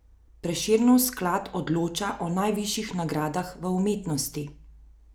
Prešernov sklad odloča o najvišjih nagradah v umetnosti.